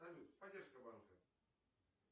салют поддержка банка